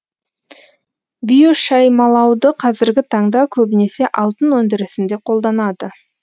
биошаймалауды қазіргі таңда көбінесе алтын өндірісінде қолданады